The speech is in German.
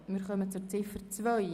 Wir kommen zu Ziffer 2.